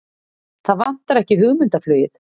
Það vantar ekki hugmyndaflugið!